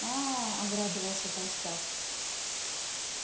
аа обрадовался толстяк